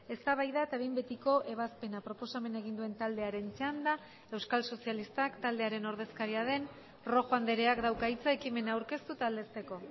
eztabaida eta behin betiko ebazpena proposamena egin duen taldearen txanda euskal sozialistak taldearen ordezkaria den rojo andreak dauka hitza ekimena aurkeztu eta aldezteko